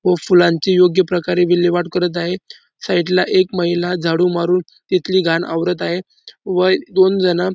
व फुलांची योग्य प्रकारे विल्हेवाट करत आहे साइड ला एक महिला झाडू मारून तिथली घाण आवरत आहे. व दोन जणं --